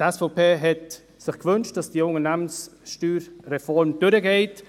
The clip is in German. Die SVP-Fraktion hat sich gewünscht, dass die Unternehmenssteuerreform durchgeht.